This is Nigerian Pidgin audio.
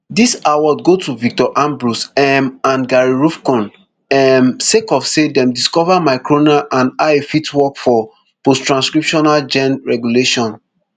dis award go to victor ambros um and gary ruvkun um sake of say dem discover microrna and how e fit work for posttranscriptional gene regulation